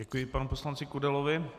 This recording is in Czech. Děkuji panu poslanci Kudelovi.